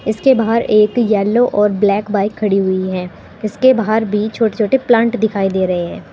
इसके बाहर एक येलो और ब्लैक बाइक ख़डी हुई है। इसके बाहर भी छोटे छोटे प्लांट दिखाई दे रहे हैं।